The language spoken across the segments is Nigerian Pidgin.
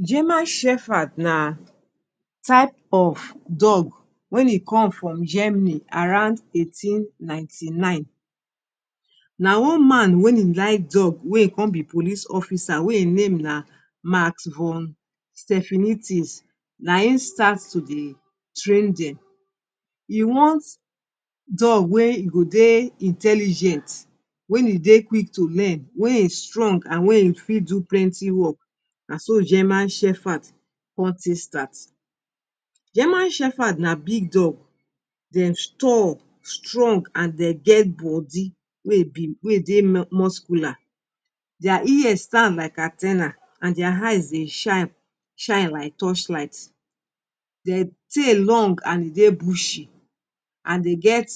German shefard na type of dog wen e come from Germany around eighteen ninety-nine na one man wey e like dog wey e con be police officer wey e name na makum Stephanie tis na im start to dey train dem e want dog wey e go dey intelligent wey en dey quick to men wey e strong and wey e fit do plenty work naso German shefard con take start German shefard na big dog dem stall strong and dem get body wey e big wey e dey muscular deir ear stand like an ten a and deir eyes dey shine shine like torch light dey tail long and e dey bushy and dey get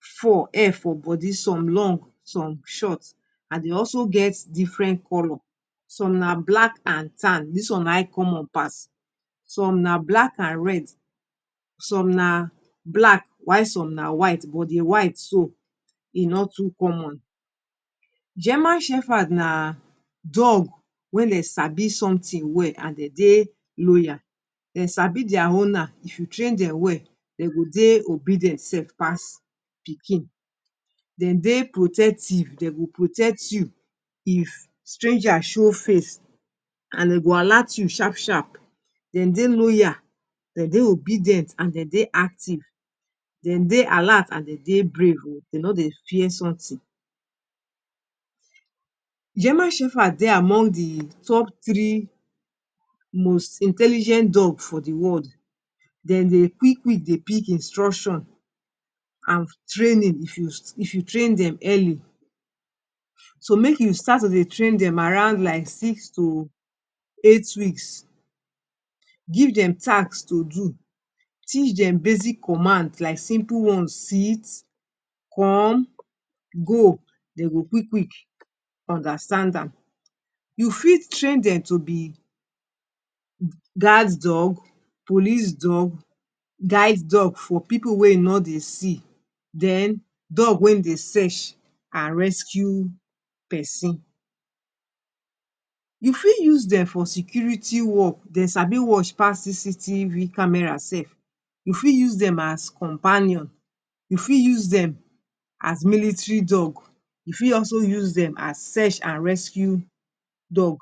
fur hair for body some long some short and dey also get diferent color some na black and tan this one na imcommon pass some na black and red some na black while some na white but di white do e no too common German shefard na dog wey dey sabi sumtin wel and dey dey loyal dem sabi their owner if e train dem well dem go dey obedient sef pass pikin dem dey protective dem go protect u if stranger show face and dem go alert you aharp sharp dem dey loyal dem dey obedient and dem dey active dem dey alert and dem dey brave o dem no dey fear sumtin German shefard dey among di top three most intelligent dog for the world dem dey quik quik dey pick instruction and training if you train dem early so make u start to dey train dem around like six to eight weeks give dem taks to do teach dem basic comand like simple one's sit come go dem go quik quik understand am u fit train dem to be gard dog police dog guide dog for people wey e no dey see den dog wey dey serch are rescue people person u fit use dem for security work dem sabi wash pass cctv camera sef u fit use dem as companion u fit use dem as military dog u fit also use dem as serch and rescue dog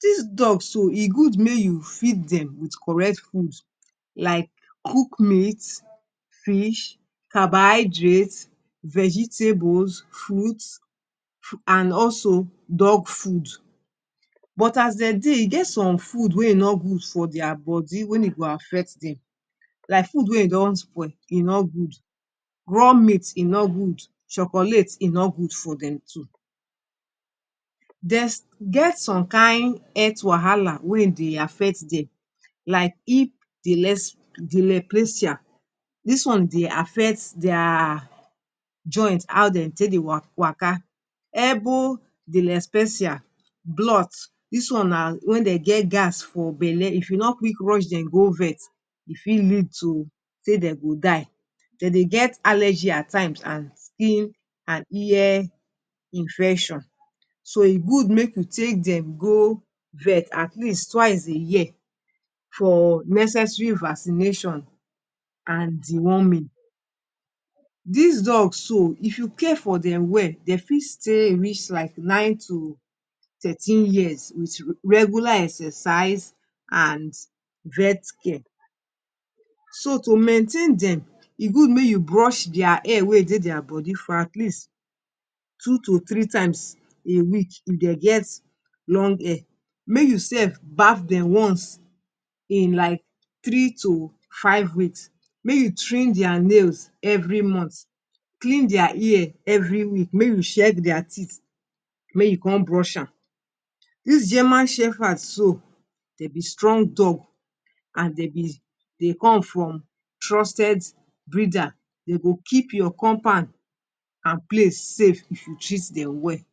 dis dog so e good make you feed dem with coret food like cook meat fish carbohydrate vegetables fruits and also dog food but as dem dey e get some food wey e no good for their body wen e go affect dem like food wey e don spoil e no good raw meat e no good chocolate e no good for dem too dems get some kain health wahala wey e dey affect dem like hip delesdeleplacia dis one dey affect deirr joint how dem take dey waka elbow delespecia glot dis one na wen dem geh gas for belle if e no quick rush dem go vet e fit lead to say dem go die dem dey get allergy at times and skin and ear infection so e good make we take dem go vet at least twice a year for necesary vacination and deworming dis dog so if you care for dem well dem fit stay reach like nine to thirteen years wit regular exercise and vet care so to maintain dem e gud make u brush deir hair wey e dey their body for at least two to three times a week if dem get long hair may u sef baff dem once in like tree to five weeks may u twim deir nails every month clean deir ear every week mae u check deir teeth mae u con brush am dis German shefard so dem be strong dog and dem be dey come from trusted breader dem go keep ur compand and place safe if u treat dem well.